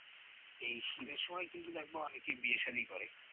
এই শীতের সময় কিন্তু দেখবা অনেকে বিয়ে shaadi করে